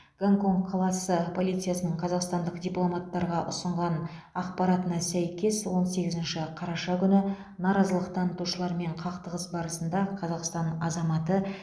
гонконг қаласы полициясының қазақстандық дипломаттарға ұсынған ақпаратына сәйкес он сегізінші қараша күні наразылық танытушылармен қақтығыс барысында қазақстан азаматы